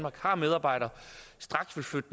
og har medarbejdere straks vil flytte